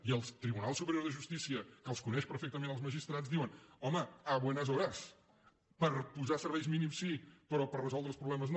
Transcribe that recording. i el tribunal superior de justícia que els coneix perfectament els magistrats diu home a buenas horas per posar serveis mínims sí però per resoldre els problemes no